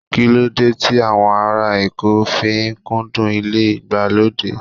Kíló dé tí àwọn ará Èkó fi kúndùn ilé ìgbàlódé?